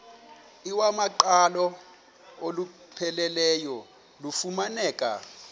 iwamaqhalo olupheleleyo lufumaneka